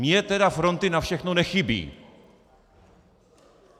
Mně tedy fronty na všechno nechybí!